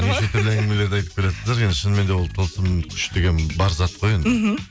неше түрлі әңгімелерді айтып келатсыздар енді шынымен де ол тылсым күш деген бар зат қой енді мхм